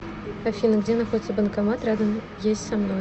афина где находится банкомат рядом есть со мной